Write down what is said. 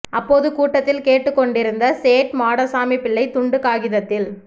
அப்போது கூட்டத்தில் கேட்டுக்கொண்டிருந்த சேட் மாடசாமிப்பிள்ளை துண்டு காகிதத்தில்